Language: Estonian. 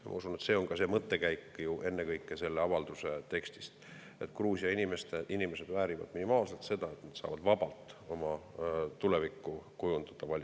Ja ma usun, et see on mõttekäik selle avalduse tekstis, et Gruusia inimesed väärivad minimaalselt seda, et nad saavad valimistel vabalt oma tulevikku kujundada.